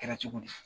Kɛra cogo di